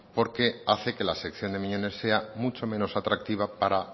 porque hace que la sección de miñones sea mucho menos atractiva para